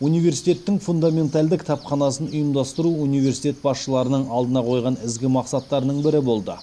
университеттің фундаментальды кітапханасын ұйымдастыру университет басшыларының алдына қойған ізгі мақсаттарының бірі болды